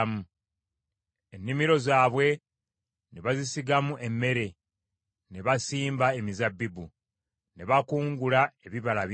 ennimiro zaabwe ne bazisigamu emmere, ne basimba emizabbibu, ne bakungula ebibala bingi.